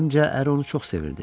Zənnimcə, əri onu çox sevirdi.